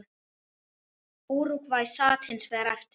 Úrúgvæ sat hins vegar eftir.